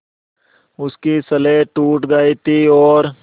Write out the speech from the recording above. उसकी स्लेट टूट गई थी और